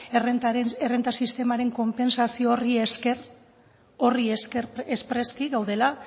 errenta sistemaren konpentsazio horri ezker horri ezker espresuki gaudela